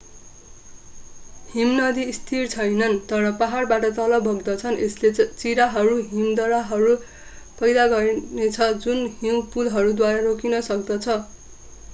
हिमनदी स्थिर छैनन् तर पहाडबाट तल बग्दछन् यसले चिराहरू हिमदरारहरू पैदा गर्नेछ जुन हिउँ पुलहरूद्वारा रोकिन सक्दछ